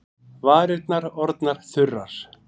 Varirnar orðnar þurrar.